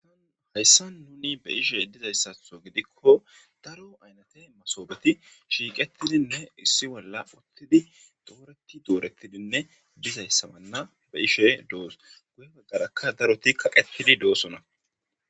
an hayssa nuni be ishe dizayssatho gidikko daro aynate masoobeti shiiqetidinne issi bolla uttidi dooreti dooretidinne dizayssabanna be ishe doos guye baggarakka daroti kaqetidi doosona